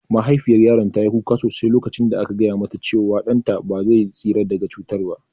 Mahaifiyar yaron ta yi kuka sosai lokacin da aka gaya mata cewa ɗan ta ba zai tsira daga cutar ba